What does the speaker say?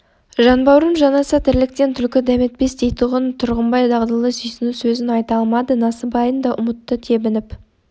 жанбауырым жанаса тірліктен түлкі дәметпес дейтұғын тұрғанбай дағдылы сүйсіну сөзін айта алмады насыбайын да ұмытты тебініп